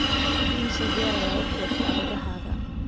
imise jeer ayaa u xiirtaa idahaaga